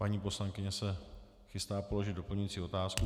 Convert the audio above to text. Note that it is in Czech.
Paní poslankyně se chystá položit doplňující otázku.